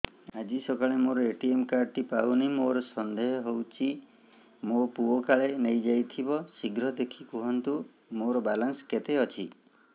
ଆଜି ସକାଳେ ମୋର ଏ.ଟି.ଏମ୍ କାର୍ଡ ଟି ପାଉନି ମୋର ସନ୍ଦେହ ହଉଚି ମୋ ପୁଅ କାଳେ ନେଇଯାଇଥିବ ଶୀଘ୍ର ଦେଖି କୁହନ୍ତୁ ମୋର ବାଲାନ୍ସ କେତେ ଅଛି